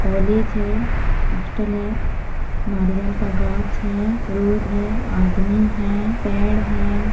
College है hostel है नरियाल का गाछ है रोड है आदमी है पैड़ है।